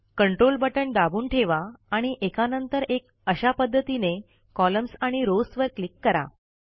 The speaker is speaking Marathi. कंट्रोल बटण दाबून ठेवा आणि एकानंतर एक अशा पध्द्तीने कॉलम्स आणि रॉव्स वर क्लिक करा